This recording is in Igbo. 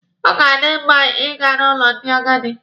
Ọ ga-adi mma Ị ga n'ụlọ ndị agadi.